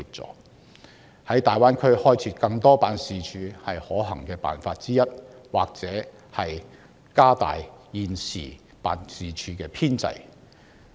就此，政府在大灣區開設更多相關辦事處是可行辦法之一，政府亦可擴大現時辦事處的編制。